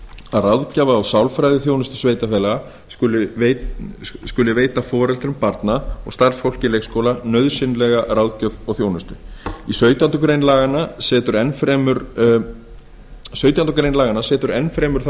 að ráðgjafar og sálfræðiþjónusta sveitarfélaga skuli veita foreldrum barna og starfsfólki leikskóla nauðsynlega ráðgjöf og þjónustu sautjándu grein laganna setur enn fremur þá